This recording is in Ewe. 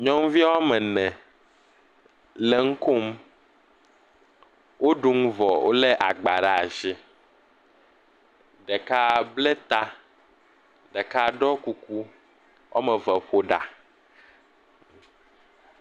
Nyɔnuvi wo ame ene le nu kom. Wo ɖu nu vɔ. Wolé agba ɖaa shi. Ɖeka blé ta. Ɖeka ɖɔ kuku. Woa me ve ƒo ɖa.